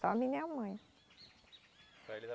Só a minha mãe.